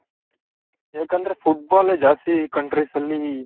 ಯಾಕಂದ್ರೆ football ಎ ಜಾಸ್ತಿ countries ಅಲ್ಲಿ